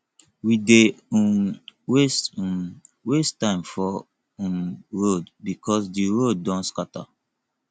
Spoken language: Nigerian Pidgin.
we dey um waste um waste time for um road because di road don scatter